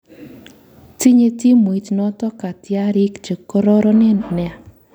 Tinye timuit noto katyarik che karoronen nea